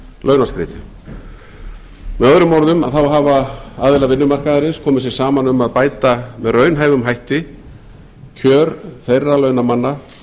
launaskrið með öðrum orðum hafa aðilar vinnumarkaðarins komið sér saman um að bæta með raunhæfum hætti kjör þeirra launamanna